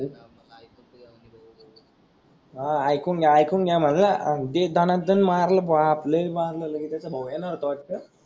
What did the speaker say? हा आयकून घ्या आयकून घ्या मनला दे दणादण मारल बाप लय मारल ललीताचा भाऊ हेन होत वाटत,